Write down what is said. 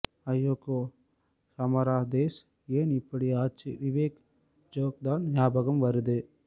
ஐயோகோ ஹமாரா தேஷ் ஏன் இப்படி ஆச்சு விவேக் ஜோக் தான் நியாபகம் வருது